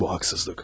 Bu haqsızlıq.